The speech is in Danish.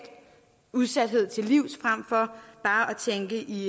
udsathed til livs frem for bare at tænke i